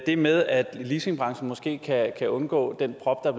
det med at leasingbranchen måske kan undgå den prop der